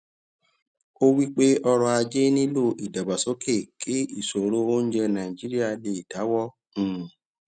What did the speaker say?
ó wípé ọrò ajé nílò ìdàgbàsókè kí ìṣòro oúnjẹ nàìjíríà lè dáwọ um